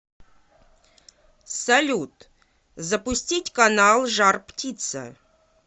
салют запустить канал жар птица